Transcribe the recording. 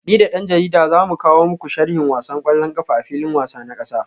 Ni da dan jarida za mu kawo muku sharhin wasan kwallon kafa a filin wasa na kasa